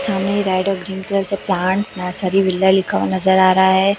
सामने गाइडल जिन कलर से प्लांट्स नर्सरी विला लिखा हुआ नजर आ रहा है।